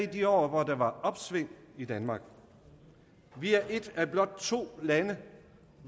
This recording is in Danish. de år hvor der var opsving i danmark vi er et af blot to lande